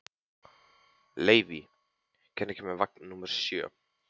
Leivi, hvenær kemur vagn númer sjö?